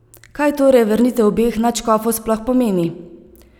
Kaj torej vrnitev obeh nadškofov sploh pomeni?